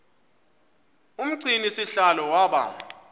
umgcini sihlalo waba